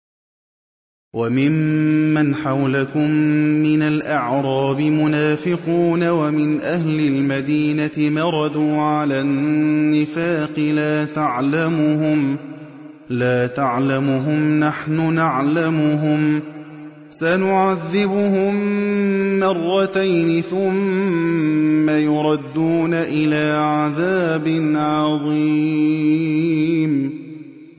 وَمِمَّنْ حَوْلَكُم مِّنَ الْأَعْرَابِ مُنَافِقُونَ ۖ وَمِنْ أَهْلِ الْمَدِينَةِ ۖ مَرَدُوا عَلَى النِّفَاقِ لَا تَعْلَمُهُمْ ۖ نَحْنُ نَعْلَمُهُمْ ۚ سَنُعَذِّبُهُم مَّرَّتَيْنِ ثُمَّ يُرَدُّونَ إِلَىٰ عَذَابٍ عَظِيمٍ